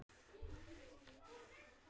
litir þínir alla tíð.